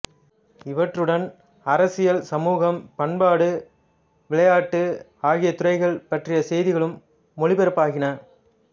இவற்றுடன் அரசியல் சமூகம் பண்பாடு விளையாட்டு ஆகிய துறைகள் பற்றிய செய்திகளும் ஒலிபரப்பாகின